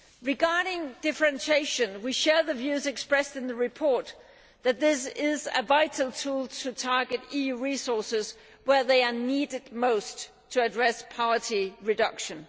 Regarding differentiation, we share the views expressed in the report that this is a vital tool for targeting EU resources where they are needed most to address poverty reduction.